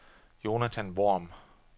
Jonathan Worm